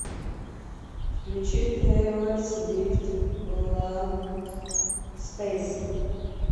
включи тэйлор свифт бланк спэйс